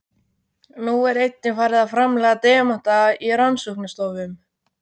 Nú er einnig farið að framleiða demanta í rannsóknastofum.